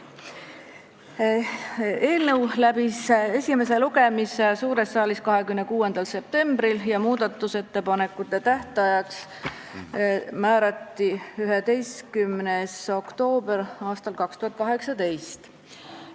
Eelnõu läbis esimese lugemise suures saalis 26. septembril ja muudatusettepanekute esitamise tähtajaks määrati 11. oktoober aastal 2018.